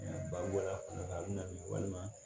Ba bɔra a kɔnɔ a bɛ na ye walima